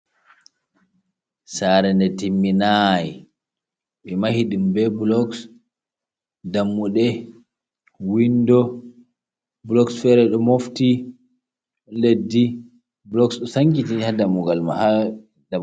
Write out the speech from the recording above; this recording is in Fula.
"Sare nde timminai" ɓe mahiɗum be boloks dammude windo boloks fere ɗo mofti on leddi boloks ɗo sankiti ha dammugal mai